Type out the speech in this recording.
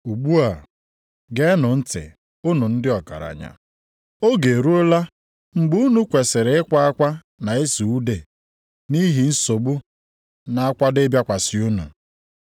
Ugbu a geenụ ntị unu ndị ọgaranya, oge eruola mgbe unu kwesiri ịkwa akwa na ịsụ ude nʼihi nsogbu na-akwado ịbịakwasị unu.